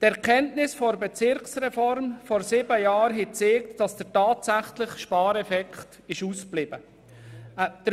Die Erkenntnisse aus der Bezirksreform von vor sieben Jahren haben gezeigt, dass der tatsächliche Spareffekt ausgeblieben ist.